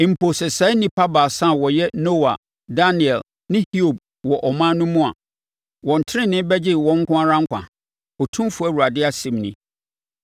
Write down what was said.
mpo sɛ saa nnipa baasa a wɔyɛ Noa, Daniel ne Hiob wɔ ɔman no mu a, wɔn tenenee bɛgye wɔn nko ara nkwa, Otumfoɔ Awurade asɛm nie.